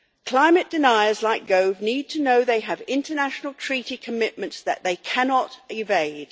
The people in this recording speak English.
Climate deniers like Gove need to know they have international treaty commitments that they cannot evade.